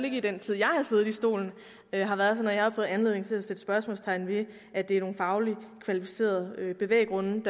ikke i den tid jeg har siddet i stolen har været sådan at jeg har fået anledning til at sætte spørgsmålstegn ved at det er nogle fagligt kvalificerede bevæggrunde